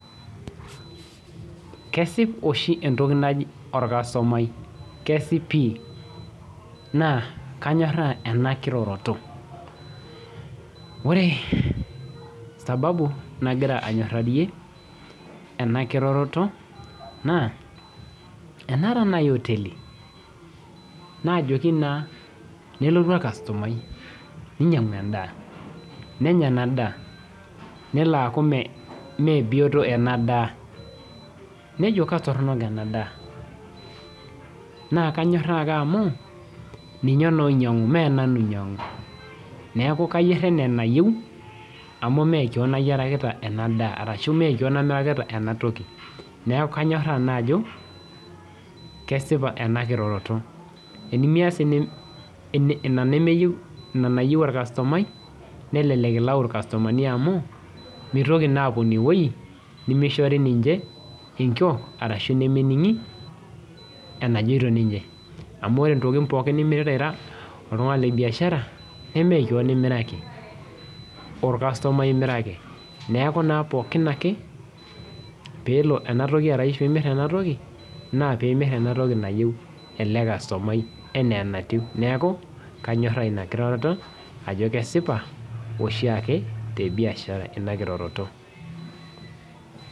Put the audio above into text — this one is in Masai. Kesip oshi entoki naji orkasutumai naa kanyoraaa ena kirororo ore sababu nagira anyorarie ena kiroroto naa enaata naaji oteli nelotu orkasutumai nainyiang'u endaa nelo aaku meebioto ena daa nejo latoronok ena daa naa kanyoraaa ake amu ninye naaa oinyiang'u neeku kayier enaa enayieu amu meekewon ayierikita ena daa arashu meekewon amirakita ena toki neeku kanyoraaa ake ajo kesipa ena kiroroto tenimias ina nayieu orkasutumai nelelek ilau irkasutumani amu meitoki naa apuo ine weueji nemeishori enkiok ashuu nemening'i enajooito amu ore intokitin nimirita ira oltung'ani lebiashara nemekewon imiraki orkasutumai imiraki neeku naa pookin ake peelo ena toki arashuu imir ena toki naa pee imir ena toki nayieu ele kastumai enaa enatiu neeku kanyoraaa inakiroroto ajo kesipa oshiake ina kiroroto